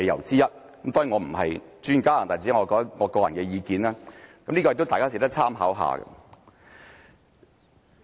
當然，我並非專家，這只是我個人意見，也是值得大家參考的。